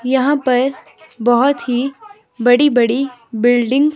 यहां पर बहोत ही बड़ी बड़ी बिल्डिंग --